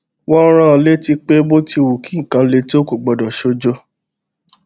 wón rán an létí pé bó ti wù kí nǹkan le tó kò gbọdọ ṣojo